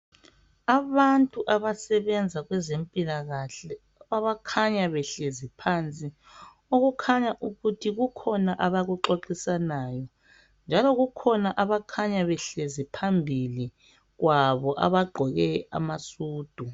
Abantu abasebenza kwezempilakahle abakhanya behlezi phansi okukhanya ukuthi kukhona abakuxoxisanayo njalo kukhona abakhanya behlezi phambili kwabo abagqoke amasudu.